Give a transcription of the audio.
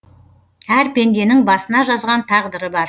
әр пенденің басына жазған тағдыры бар